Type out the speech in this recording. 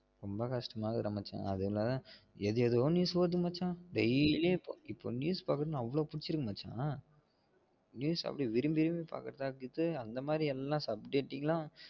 ரொம்ப கஷ்ட்டம்மா இருக்குதுடா மச்சா அதுல எது எதுவோ news ஓடுது மச்சா daily உம் இப்ப news பாக்கணும்னா அவ்ளவு பிடிச்சுருக்கு மச்ச news அப்டி விரும்பி விரும்பி பாக்குறேன் அந்த மாதிரி எல்லாம் subtitle ல